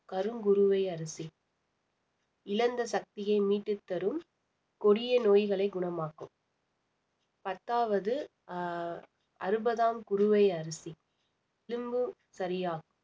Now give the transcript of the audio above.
கருங்குருவை அரிசி இழந்த சக்தியை மீட்டு தரும் கொடிய நோய்களை குணமாக்கும் பத்தாவது அஹ் அறுபதாம் குருவை அரிசி எலும்பு சரியாகும்